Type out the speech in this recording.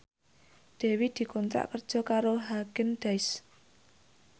Dewi dikontrak kerja karo Haagen Daazs